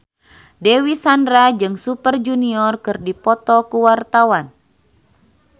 Dewi Sandra jeung Super Junior keur dipoto ku wartawan